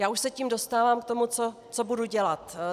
Já už se tím dostávám k tomu, co budu dělat.